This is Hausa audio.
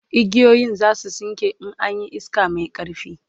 igiyoyin zasu tsinke in an Yi iska Mai ƙarfi